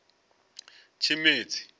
tshimedzi